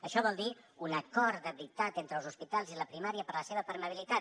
això vol dir un acord de veritat entre els hospitals i la primària per a la seva permeabilitat